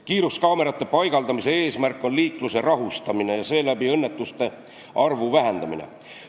Kiiruskaamerate paigaldamise eesmärk on liiklust rahustada ja seeläbi õnnetuste arvu vähendada.